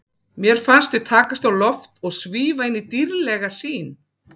Mér fannst við takast á loft og svífa inn í dýrðlega sýn.